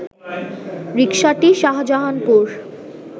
রিকসাটি Shahjahanpur